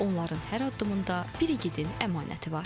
Onların hər addımında bir igidin əmanəti var.